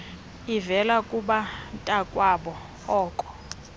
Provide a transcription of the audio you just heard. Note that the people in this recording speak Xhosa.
uvela kubantakwabo koo